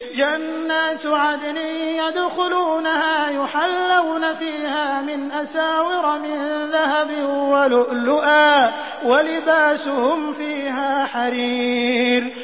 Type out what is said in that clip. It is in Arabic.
جَنَّاتُ عَدْنٍ يَدْخُلُونَهَا يُحَلَّوْنَ فِيهَا مِنْ أَسَاوِرَ مِن ذَهَبٍ وَلُؤْلُؤًا ۖ وَلِبَاسُهُمْ فِيهَا حَرِيرٌ